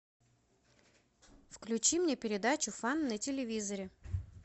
включи мне передачу фан на телевизоре